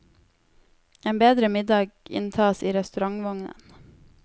En bedre middag inntas i restaurantvognen.